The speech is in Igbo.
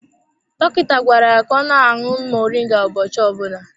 Dọkịta gwara ya ka ọ na-aṅụ moringa ụbọchị ọbụna.